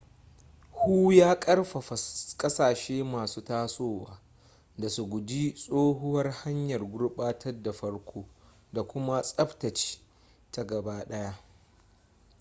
hu ya karfafa kasashe masu tasowa da su guji tsohuwar hanyar gurbatar da farko da kuma tsabtace ta daga baya